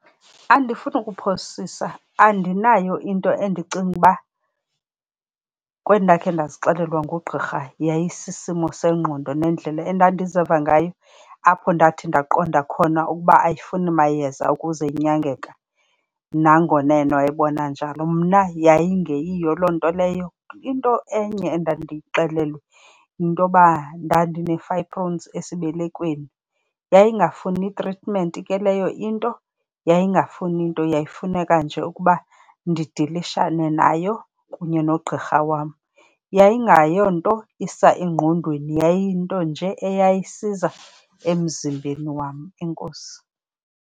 Andifuni kuphosisa, andinayo into endicinga uba kwendakhe ndazixelelwa ngugqirha yayisisimo sengqondo. Nendlela endandiziva ngayo apho ndathi ndaqonda khona ukuba ayifuni mayeza ukuze inyangeka nangona yena wayibona njalo, mna yayingeyiyo loo nto leyo. Into enye endandiyixelelwe yintoba ndandinee-fibroids esibelekweni, yayingafuni tritimenti ke leyo into, yayingafuni nto. Yayifuneka nje ukuba ndidilishane nayo kunye nogqirha wam. Yayingeyonto isa engqondweni, yayiyinto nje eyayisiza emzimbeni wam. Enkosi.